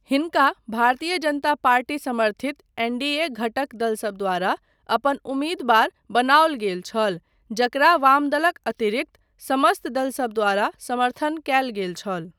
हिनका भारतीय जनता पार्टी समर्थित एन॰डी॰ए॰ घटक दलसब द्वारा अपन उम्मीदवार बनाओल गेल छल जकरा वामदलक अतिरिक्त समस्त दलसब द्वारा समर्थन कयल गेल छल।